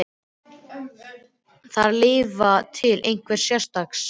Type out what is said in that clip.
Þarf að lifa til einhvers sérstaks?